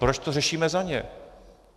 - Proč to řešíme za ně?